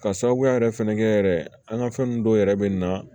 Ka sababuya yɛrɛ fɛnɛ kɛ yɛrɛ an ka fɛn dɔw yɛrɛ bɛ na